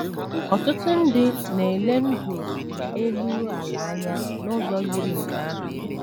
Ọtụtụ ndị na - ele ndụ elu ala anya n’ụzọ yiri nke ahụ.